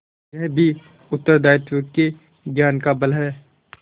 यह भी उत्तरदायित्व के ज्ञान का फल है